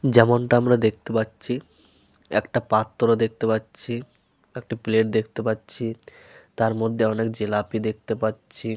যেমনটা আমরা দেখতে পাচ্ছি একটা পাত্র দেখতে পাচ্ছি। একটি প্লেট দেখতে পাচ্ছি। তার মধ্যে অনেক জিলাপি দেখতে পাচ্ছি।